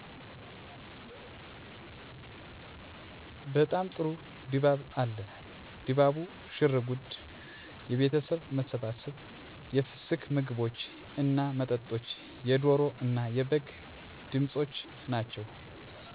በጣም ጥሩ ድባብ አለ። ድባቡ፤ ሽርጉዱ፤ የቤተሠብ መሠባሠብ፤ የፍስክ ምግቦች እና መጠጦች፤ የደሮ እና የበግ ድምፆች ናቸው።